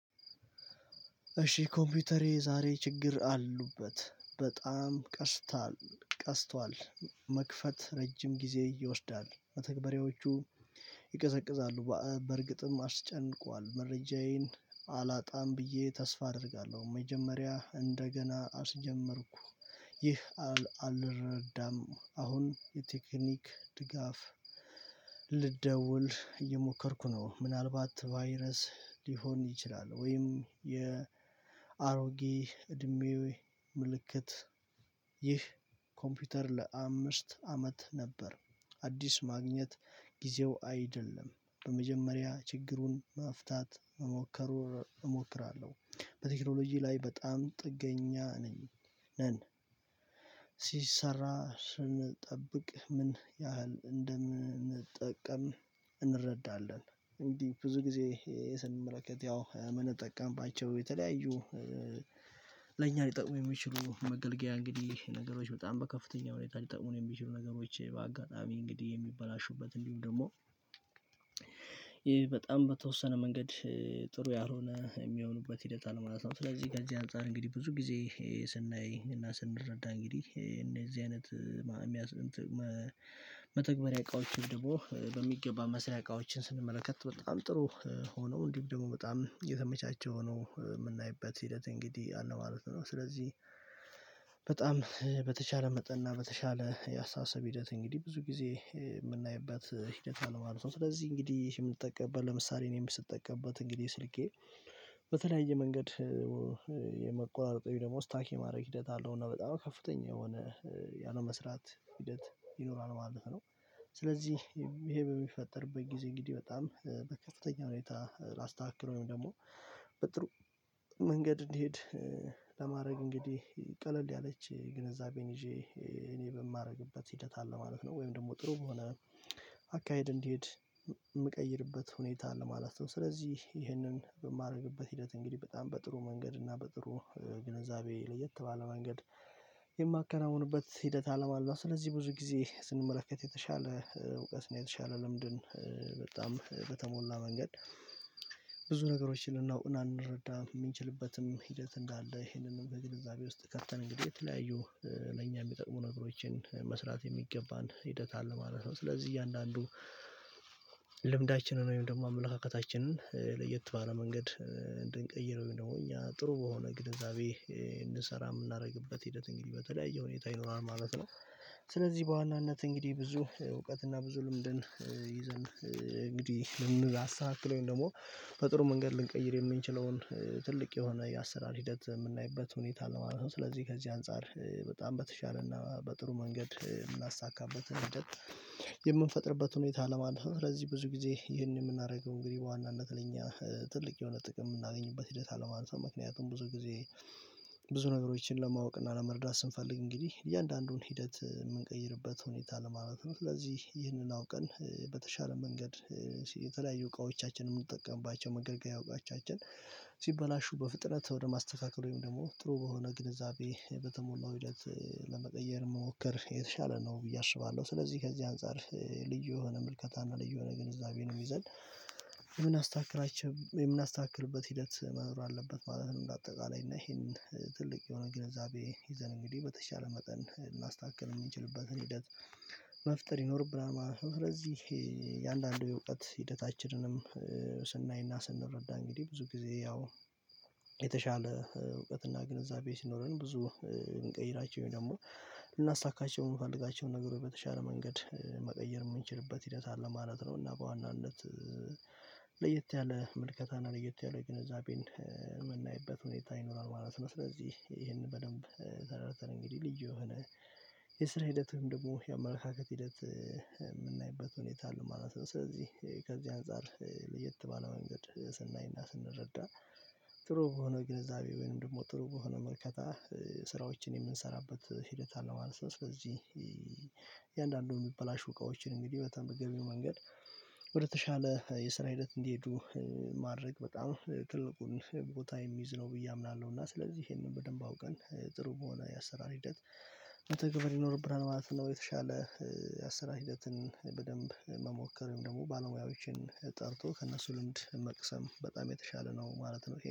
እሺ ኮምፒውተሬ ዛሬ ችግር አሉበት። በጣም ቀስቷል መክፈት ረጅም ጊዜ ይወስዳል። መተግባራዎቹ ይቀዘቅዛሉ በእርግጥም አስጨንቋል። መረጃዬን አላጣም ብዬ ተስፋ አደርጋለሁ። መጀመሪያ እንደገና አስጀመርኩ። ይህ አልረዳም። አሁን የቴክኒክ ድጋፍ ልደውል እየሞከርኩ ነው። ምናልባት ቫይረስ ሊሆን ይችላል ወይም የአሮጌ እድሜ ምልክት። ይህ ኮምፒውተር ለአምስት አመት ነበር። አዲስ ማግኘት ጊዜው አይደለም በመጀመሪያ ችግሩን መፍታት። እሞክራለሁ በቴክኖሎጂ ላይ በጣም ጥገኛ ነን። ሲሰራ ስንጠብቅ ምን ያህል እንደምንጠቀም እንረዳለን። እንግዲህ ብዙ ጊዜ ይሄ ስንመለከት ያው የምንጠቀምባቸው የተለያዩ ለኛ ሊጠቅሙ የሚችሉ መገልገያ እንግዲህ ነገሮች በጣም በከፍተኛ ሁኔታ ሊጠቅሙን የሚችሉ ነገሮች በአጋጣሚ እንግዲህ የሚበላሹበት እንዲሁም ደግሞ ይሄ በጣም በተወሰነ መንገድ ጥሩ ያልሆነ የሚሆኑበት ሂደት አለ። ማለት ነው። ስለዚህ ከዚ አንፃር እንግዲህ ብዙ ጊዜ ስናይ እና ስንረዳ እንግዲህ እንደዚህ አይነት መተግበሪያ እቃዎች ደግሞ በሚገባ መስሪያ እቃዎችን ስንመለከት በጣም ጥሩ ሆኖ እንዲህ ደግሞ በጣም የተመቻቸ ሆኖ የምናይበት ሂደት እንግዲህ አለ ማለት ነው። ስለዚህ በጣም በተቻለ መጠን እና በተቻለ ያስተሳሰብ ሂደት እንግዲህ ብዙ ጊዜ የምናይበት ሂደት አለ ማለት ነው። ስለዚህ እንግዲህ ይሄ የምትጠቀምበት ለምሳሌ እኔም ስትጠቀምበት እንግዲህ ስልኬ በተለያየ መንገድ የመቆራረጥ ደግሞ ስታክ የማድረግ ሂደት አለው። እና በጣም ከፍተኛ የሆነ ያለ መስራት ሂደት ይኖራል ማለት ነው። ስለዚህ ይሄ በሚፈጠርበት ጊዜ እንግዲህ በጣም በከፍተኛ ሁኔታ ላስተካከለው ደግሞ በጥሩ መንገድ እንዲሄድ ለማድረግ እንግዲህ ቀለል ያለች ግንዛቤን ይዤ እኔ በማደርግበት ሂደት አለ ማለት ነው። ወይም ደግሞ ጥሩ በሆነ አካሄድ እንዲሄድ የምቀይርበት ሁኔታ ለማለት ነው። ስለዚህ ይህንን በማደርግበት ሂደት እንግዲህ በጣም በጥሩ መንገድ እና በጥሩ ግንዛቤ ለየት ባለ መንገድ የማከናውንበት ሂደት አለ። ማለት ስለዚህ ብዙ ጊዜ ስንመለከት የተሻለ እውቀት ነው። የተሻለ ልምድን በጣም በተሞላ መንገድ ብዙ ነገሮችን ልናውቅ እና እንረዳ የምንችልበትም ሂደት እንዳለ ይሄንንም እንደግንዛቤ ውስጥ ከተን እንግዲህ የተለያዩ ለእኛ የሚጠቅሙ ነገሮችን መስራት የሚገባን ሂደት አለ ማለት ነው። ስለዚህ እያንዳንዱ ልምዳችንን ወይም ደግሞ አመለካከታችንን ለየት ባለ መንገድ እንድንቀይረው እኛ ጥሩ በሆነ ግንዛቤ እንድንሰራ የምናደርግበት ሂደት እንግዲህ በተለያየ ሁኔታ ይኖራል ማለት ነው። ስለዚህ በዋናነት እንግዲህ ብዙ እውቀትና ብዙ ልምድን ይዘን እንግዲህ ልምድ ያሳክለኝ ደግሞ በጥሩ መንገድ ልንቀይር የምንችለውን ትልቅ የሆነ የአሰራር ሂደት የምናይበት ሁኔታ ለማለት ነው። ስለዚህ ከዚህ አንፃር በጣም በተሻለና በጥሩ መንገድ የምናሳካበት የምንፈጥርበት ሁኔታ ለማለፍ ስለዚህ ብዙ ጊዜ ይህንን የምናደርገው እንግዲህ በዋናነት ለኛ ትልቅ የሆነ ጥቅም የምናገኝበት ሂደት አለ ማለት ነው። ምክንያቱም ብዙ ጊዜ ብዙ ነገሮችን ለማወቅ እና ለመርዳት ስንፈልግ እንግዲህ እያንዳንዱን ሂደት የምንቀይርበት ሁኔታ ለማለት ነው። ስለዚህ ይህንን አውቀን በተሻለ መንገድ የተለያዩ እቃዎቻችንን የምንጠቀምባቸው መገልገያ ዕቃወቻችን ሲበላሹ በፍጥነት ወደ ማስተካከል ወይም ደግሞ ጥሩ በሆነ ግንዛቤ በተሞላው ሂደት ለመቀየር መሞከር የተሻለ ነው ብዬ አስባለሁ። ስለዚህ ከዚህ አንፃር ልዩ የሆነ ምልከታና ልዩ የሆነ ግንዛቤንም ይዘን የምናስተካክላቸውም የምናስተካክልበት ሂደት መኖር አለበት ማለት ነው። እንደ አጠቃላይ እና ይሄን ትልቅ የሆነ ግንዛቤ ይዘን እንግዲህ በተሻለ መጠን ማስተካከል የሚችልበትን ሂደት መፍጠር ይኖርብናል ማለት ነው። ምክንያቱም ስለዚህ የአንዳንድ የእውቀት ሂደታችንንም ስናይና ስንረዳ እንግዲህ ብዙ ጊዜ ያው የተሻለ እውቀትና ግንዛቤ ሲኖረን ብዙ የምንቀይራቸው ደግሞ ልናሳካቸው የምንፈልጋቸው ነገሮች በተሻለ መንገድ መቀየር የምንችልበት ሂደት አለ ማለት ነው። እና በዋናነት ለየት ያለ ምልከታና ለየት ያለ የገንዘቤን የምናይበት ሁኔታ ይኖራል ማለት ነው። ስለዚህ ይሄንን በደንብ ተረድተን እንግዲህ ልዩ የሆነ የስራ ሂደትንም ደግሞ የአመለካከት ሂደት የምናይበት ሁኔታ አለ ማለት ነው። ስለዚህ ከዛ አንፃር ለየት ባለው መንገድ ስናይና ስንረዳ ጥሩ በሆነ ግንዛቤ ወይም ደግሞ ጥሩ በሆነ መልከታ ስራዎችን የምንሰራበት ሂደት አለ ማለት ነው። ስለዚህ የእያንዳንዱን የሚበላሹ እቃዎችን እንግዲህ በተመገቢው መንገድ ወደ ተሻለ የስራ ሂደት እንዲሄዱ ማድረግ በጣም ትልቁን ቦታ የሚይዝ ነው ብዬ አምናለሁ። እና ስለዚህ ይሄንን በደንብ አውቀን ጥሩ መሆን ያሰራል ሂደት መተግበር ይኖርብሃል ማለት ነው። የተሻለ ያሰራል ሂደትን በደንብ መሞከር ወይም ደግሞ ባለሙያዎችን ጠርቶ ከእነሱ ልምድ መቅሰም በጣም የተሻለ ነው ማለት ነው